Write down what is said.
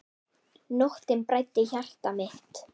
Nóttin bræddi hjarta mitt.